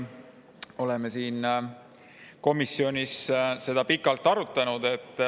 Oleme seda eelnõu komisjonis pikalt arutanud.